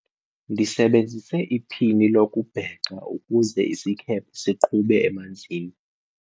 ndisebenzise iphini lokubhexa ukuze isikhephe siqhube emanzini